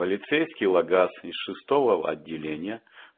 полицейский лагаз из шестого отделения